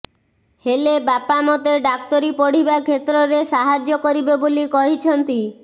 ହେଲେ ବାପା ମତେ ଡାକ୍ତରୀ ପଢ଼ିବା କ୍ଷେତ୍ରରେ ସାହାଯ୍ୟ କରିବେ ବୋଲି କହିଛନ୍ତି